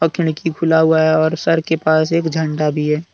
खिड़की खुला हुआ है और सर के पास एक झंडा भी है।